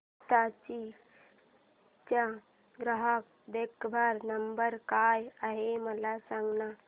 हिताची चा ग्राहक देखभाल नंबर काय आहे मला सांगाना